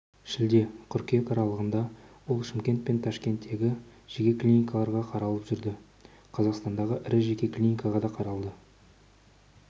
шілде-қыркүйек аралығында ол шымкент пен ташкенттегі жеке клиникаларға қаралып жүрді қазақстандағы ірі жеке клиникаға да қаралды